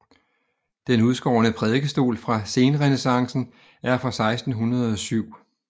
Den udskårne prædikestol fra senrenæssancen er fra 1607